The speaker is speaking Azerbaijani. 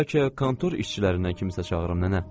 Bəlkə kontor işçilərindən kimsə çağıırım nənə?